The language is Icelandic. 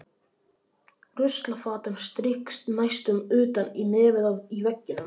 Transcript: Ruslafatan strýkst næstum utan í nefið í veggnum.